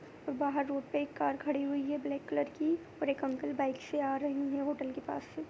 बाहर रोड पे एक कार खड़ी हुई है ब्लैक कलर की और एक अंकल बाइक से आ रहे हैं होटल के पास से।